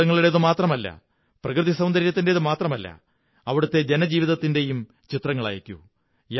കെട്ടിടങ്ങളുടേതുമാത്രമല്ല പ്രകൃതി സൌന്ദര്യത്തിന്റേതു മാത്രമല്ല അവിടത്തെ ജനജീവിതത്തിന്റെയും ചിത്രങ്ങളയക്കൂ